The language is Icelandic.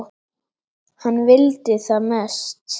Hann vildi það mest.